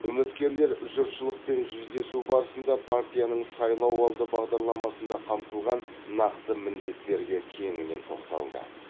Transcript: үміткерлер жұртшылықпен жүздесу барысында партияның сайлауалды бағдарламасында қамтылған нақты міндеттерге кеңінен тоқталды